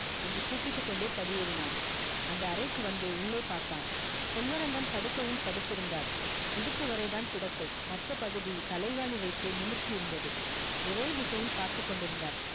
என்று கூப்பிட்டுக் கொண்டே படியேறினான் அந்த அறைக்கு வந்து உள்ளே பார்த்தான் செல்வரங்கம் படுக்கையில் படுத்திருந்தார் இடுப்பு வரைதான் கிடக்கை மற்ற பகுதி தலைகாணி வைத்து நிமிர்த்தி இருந்தது ஒரே திசையில் பார்த்துக் கொண்டிருந்தார்